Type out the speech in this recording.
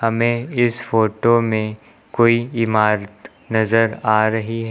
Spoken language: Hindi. में इस फोटो में कोई इमारत नजर आ रही है।